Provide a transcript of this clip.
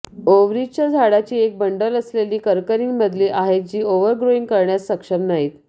ओव्हरीजच्या झाडाची एक बंडल असलेली कर्करींमधील आहेत जी ओव्हरग्रोइंग करण्यास सक्षम नाहीत